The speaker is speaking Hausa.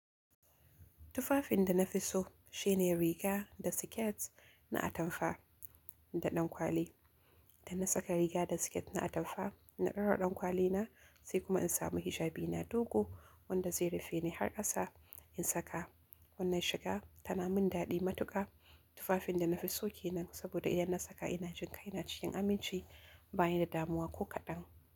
Tufafin da nafi so shine riga da siket na atamfa da ɗankwali. Idan na saka riga da siket na atamfa, na ɗora ɗankwali na, sai kuma in samu hijabi na dogo wanda zai rufe ni har ƙasa in saka, wannan shiga tana min daɗi matuƙa. Tufafin dana fi so kenan saboda idan na saka inajin kaina cikin aminci banida damuwa ko kaɗan.